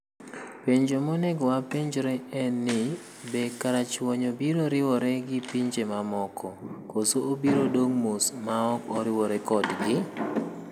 Penjo monego wapenjre en ni: Be karachuonyo biro riwore gi pinje mamoko, koso obiro dong' mos maok oriwore kodgi?